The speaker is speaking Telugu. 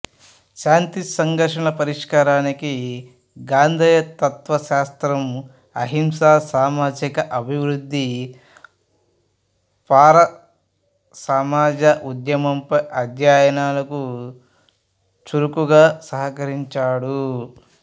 శాంతి సంఘర్షణల పరిష్కారానికి గాంధేయ తత్వశాస్త్రం అహింస సామాజిక అభివృద్ధి పౌర సమాజ ఉద్యమంపై అధ్యయనాలకు చురుకుగా సహకరించాడు